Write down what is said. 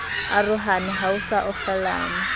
arohane ha ho sa okgelanwa